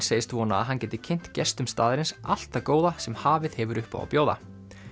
segist vona að hann geti kynnt gestum staðarins allt það góða sem hafið hefur upp á að bjóða